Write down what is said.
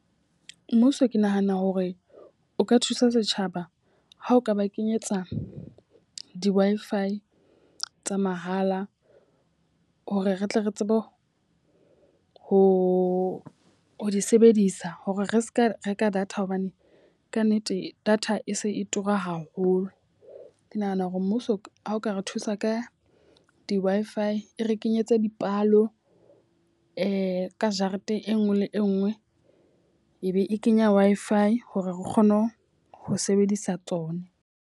Mmuso ke nahana hore o ka thusa setjhaba ha o ka ba kenyetsa di-Wi-Fi tsa mahala. Hore re tle re tsebe ho ho ho di sebedisa hore re seka reka data. Hobane ka nnete data e se e tura haholo. Ke nahana hore mmuso ha o ka re thusa ka di-Wi-Fi e re kenyetse dipalo e ka jarete e nngwe le e nngwe e be e kenya Wi-Fi hore re kgone ho ho sebedisa tsone.